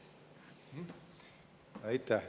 Aitäh!